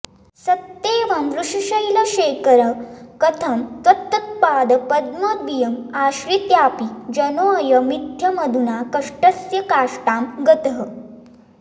सत्येवं वृषशैलशेखर कथं त्वत्पादपद्मद्वयीम् आश्रित्यापि जनोऽयमित्थमधुना कष्टस्य काष्टां गतः